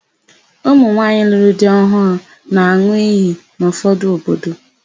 Ụmụnwaanyị lụrụ di ọhụụ na-an̄ụ iyi n'ụfọdụ obodo.